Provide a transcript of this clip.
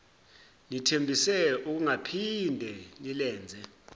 nithembise ukungaphinde nilenze